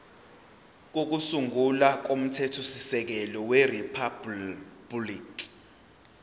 kokusungula komthethosisekelo weriphabhuliki